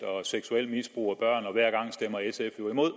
og seksuelt misbrug af børn og hver gang stemmer sf jo imod